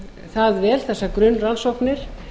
það vel þessar grunnrannsóknir